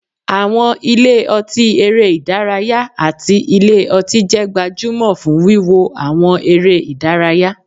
Àwọn ilé ọtí eré ìdárayá àti ilé ọtí jẹ́ gbajúmọ̀ fún wíwo àwọn eré ìdárayá